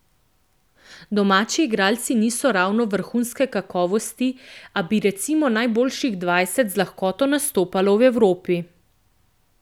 Domači igralci niso ravno vrhunske kakovosti, a bi recimo najboljših dvajset z lahkoto nastopalo v Evropi.